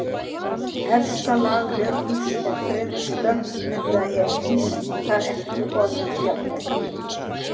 Efsta lag jökuls er fremur stökkt enda er ís þar ekki orðinn þjáll.